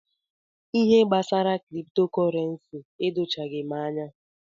Ihe gbasara kripto kọrensi edochaghi m anya.